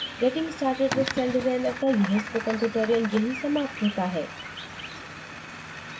getting started with celldesigner का यह spoken tutorial यहीं समाप्त होता है